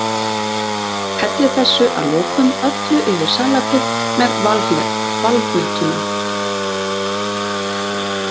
Hellið þessu að lokum öllu yfir salatið með valhnetunum.